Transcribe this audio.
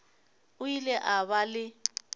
o ile a ba le